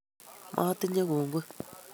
matinye kongoi